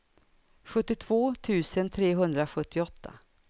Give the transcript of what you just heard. sjuttiotvå tusen trehundrasjuttioåtta